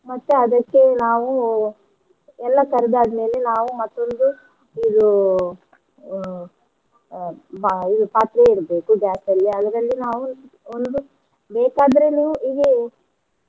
ಮತ್ತ ಅದಕ್ಕೆ ನಾವು ಎಲ್ಲ ಕರ್ದ ಆದ್ಮೇಲೆ ನಾವು ಮತ್ತೊಂದು ಇದು ಅಹ್ ಅ ಬಾ~ ಇದು ಪಾತ್ರೆ ಇಡ್ಬೇಕು gas ಅಲ್ಲಿ ಅದ್ರಲ್ಲಿ ನಾವು ಒಂದು ಬೇಕಾದ್ರೆ ನೀವು ಇದು.